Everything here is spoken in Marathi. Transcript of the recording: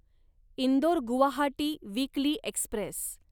Indore Guwahati weekly Express